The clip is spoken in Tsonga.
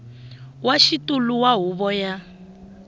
wa xitulu wa huvo ya